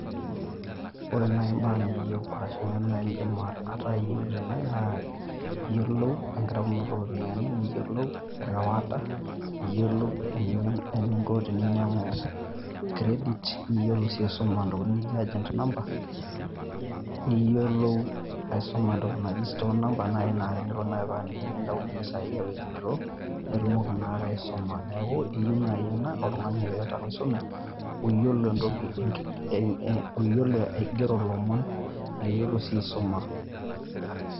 Ore naai imbaa niyeu arashu neena naidima ataiyeu tene naa aiyolo enkarunoto ropiani niyolo erewata, niyolo eninko te ninyangu credit, niyolo sii aisoma ndokiting Niko agent number, niyolo aisoma endoki naijo stone number naai naa te nindaunye pesaai aiwithraw naitumoki taa aisoma. Neaku iyeu naai ena oltungani oaata enkisuma, oiyolo aigero lomon, neiyolo sii aisoma.